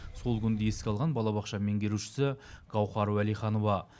сол күнді еске алған балабақша меңгерушісі гаухар уәлиханова